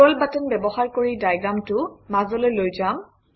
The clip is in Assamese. স্ক্ৰল বাটন ব্যৱহাৰ কৰি ডায়েগ্ৰামটো মাজলৈ লৈ যাম